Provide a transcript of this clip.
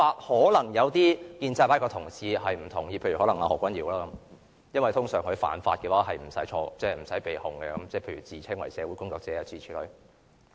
可能一些建制派的同事不同意這說法，譬如何君堯議員，因為通常他犯法是不會被控的，譬如自稱是社會工作者等諸如此類。